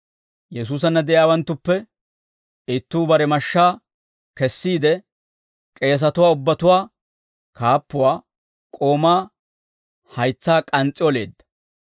Yesuusanna de'iyaawanttuppe ittuu bare mashshaa kessiide k'eesatuwaa ubbatuwaa kaappuwaa k'oomaa haytsaa k'ans's'i oleedda.